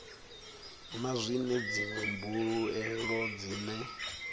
na zwine dziṅwe mbuelo dzine